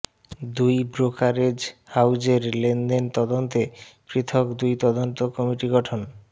দুই ব্রোকারেজ হাউজের লেনদেন তদন্তে পৃথক দুই তদন্ত কমিটি গঠন